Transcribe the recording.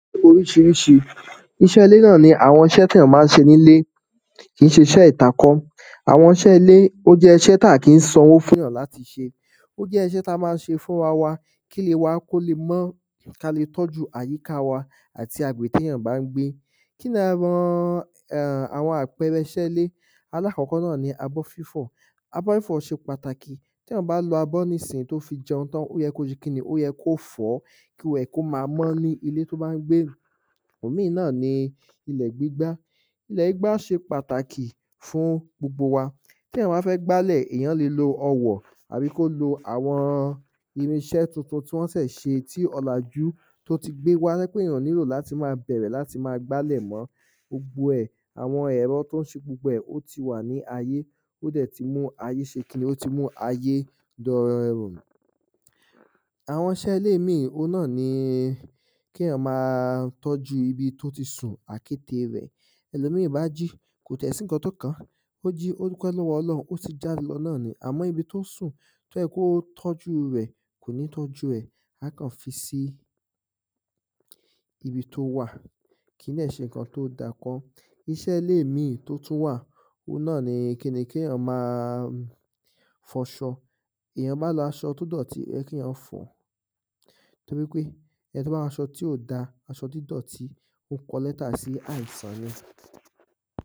Oríṣiríṣi iṣẹ́ ilé náà ni àwọn iṣẹ́ téyàn má ń ṣe nílé kì í ṣe iṣẹ́ ìta kọ́ àwọn iṣẹ́ ilẹ́ ó jẹ́ iṣẹ́ tá kí ń sanwó fún yàn láti ṣe ó jẹ́ iṣẹ́ tá má ń ṣe fúnra wa kílé wa kó le mọ́ ká le tọ́jú àyíká wa àti agbègbè téyàn bá ń gbé. Kíni àwọn um àwọn àpẹrẹ iṣẹ́ ilé? Alákọ̀kọ́ náà ni abọ́ fífọ̀ abọ́ fífọ̀ ṣe pàtàkì téyàn bá lo abọ́ nísìnyí tó fi jẹun tán ó yẹ kó ṣe kíni ó yẹ kó fọ̀ọ́ kíwẹ̀ kó má mọ́ ní ilé tó bá ń gbé. Òmí náà ni ilẹ̀ gbígbá. Ilẹ̀ gbígbá ṣe pàtàkì fún gbogbo wa téyàn bá fẹ́ gbálẹ̀ èyàn le lo ọwọ̀ tàbí ko lo àwọn irinṣẹ́ tuntun tí wọ́n ṣè ṣe tí ọ̀làjú tó ti gbé wá tó jẹ́ pé èyàn ò nílò láti má bẹ̀rẹ̀ láti má gbálẹ̀ mọ́ gbogbo ẹ̀ àwọn ẹ̀rọ tó ń ṣe gbogbo ẹ̀ ó ti wà ní ayé ó dẹ̀ ti mú ayé ṣe kíni ó dẹ̀ ti mú ayé dẹrùn. Àwọn iṣẹ́ ilẹ́ mí òun náà ni kéyàn má tọ́jú ibi tó ti sùn àkékè rẹ̀. tẹ́lòmí bá jí kò ti ẹ̀ sí nǹkan tó kàn án. Ó jí ó dúpẹ́ lọ́wọ́ ọlọun ó sì ń jáde lọ ná ni àmọ́ ibi tó sùn tó yẹ kó tọ́jú rẹ̀ kò ní tọ́jú ẹ̀ á kàn fi sí ibi tó wà kì í dẹ̀ ṣe nǹkan tó dá kọ́. Iṣẹ́ ilé ìmi tó tún wà oun náà ni kíni kéyàn má a fọṣọ èyàn má ń lo aṣọ tó dọ̀tí ó yẹ kéyàn fọ̀ ọ́ torípé ẹni tó bá waṣọ tí ò dá aṣọ dídọ̀tí ó kọ lẹ́tà sí àìsàn ni.